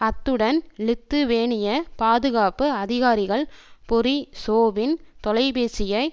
அத்துடன் லித்துவேனிய பாதுகாப்பு அதிகாரிகள் பொரிசோவ்வின் தொலைபேசியை